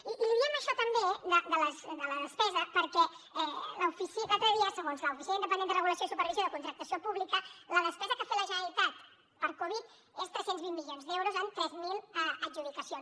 i li diem això també de la despesa perquè l’altre dia segons l’oficina independent de regulació i supervisió de contractació pública la despesa que ha fet la generalitat per covid és tres cents i vint milions d’euros en tres mil adjudicacions